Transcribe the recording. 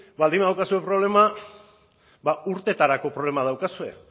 baldin badaukazu problema urteetarako problema daukazue